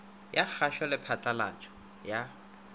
ya kgašo le phatlalatšo ya